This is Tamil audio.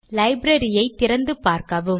லைப்ரரியை திறந்து பார்க்கவும்